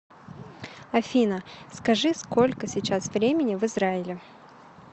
афина скажи сколько сейчас времени в израиле